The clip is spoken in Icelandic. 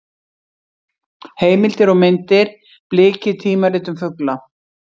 Heimildir og myndir: Bliki: tímarit um fugla.